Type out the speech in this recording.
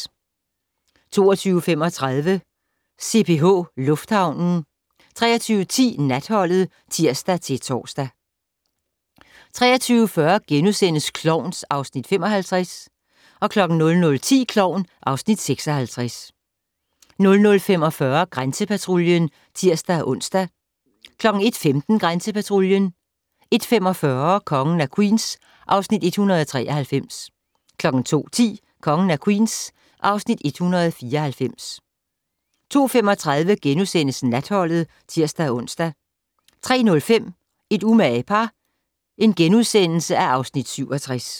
22:35: CPH Lufthavnen 23:10: Natholdet (tir-tor) 23:40: Klovn (Afs. 55)* 00:10: Klovn (Afs. 56) 00:45: Grænsepatruljen (tir-ons) 01:15: Grænsepatruljen 01:45: Kongen af Queens (Afs. 193) 02:10: Kongen af Queens (Afs. 194) 02:35: Natholdet *(tir-ons) 03:05: Et umage par (Afs. 67)*